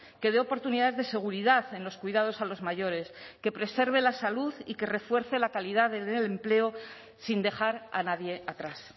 que dé oportunidad de seguridad en los cuidados a los mayores que preserve la salud y que refuerce la calidad del empleo sin dejar a nadie atrás